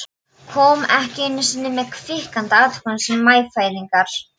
Kom ekki einu sinni með kvikinska athugasemd um meyfæðingar.